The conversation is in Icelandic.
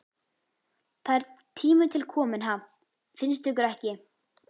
Það er tími til kominn, ha, finnst ykkur ekki?